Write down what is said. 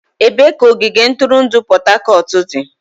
Ebee ka ogige ntụrụndụ Port Harcourt dị?